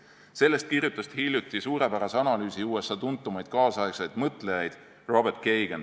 Sellest kirjutas hiljuti suurepärase analüüsi USA tuntumaid tänapäeva mõtlejaid Robert Kagan.